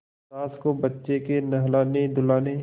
सास को बच्चे के नहलानेधुलाने